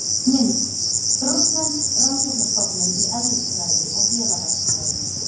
Mynd: Rússnesk rannsóknarstofnun í eðlisfræði og vélaverkfræði.